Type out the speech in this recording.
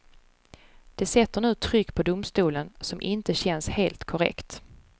Det sätter nu ett tryck på domstolen som inte känns helt korrekt.